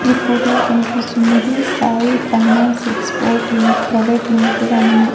ఈ ఫోటో లో కనిపిస్తున్నది సాయి ఫైనాన్స్ ఎక్స్పోర్ట్ లిం ప్రైవేట్ లిమిటెడ్ అని ఉంది.